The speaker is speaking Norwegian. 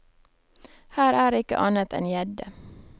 Her er ikke annet enn gjedde.